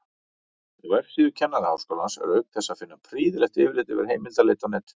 Á vefsíðu Kennaraháskólans er auk þess að finna prýðilegt yfirlit yfir heimildaleit á netinu.